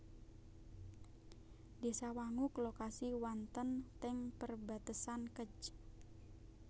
Désa Wanguk lokasi wanten teng perbatesan Kec